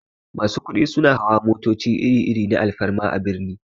Masu kudi suna hawa motoci iri-iri na alfarma a birni.